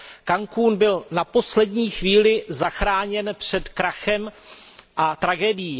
Cancún byl na poslední chvíli zachráněn před krachem a tragédií.